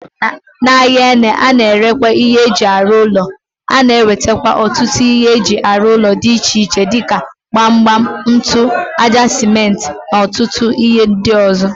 N'ahia ene a na-ere ihe eji aru ulo, a na-enwete otutu ihe eji aru ulo di iche iche dika gbam gbam, ntu, aja sementi na otutu ihe ndi ozo.